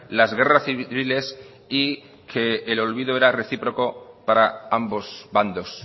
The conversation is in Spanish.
las guerras civiles y que el olvido era recíproco para ambos bandos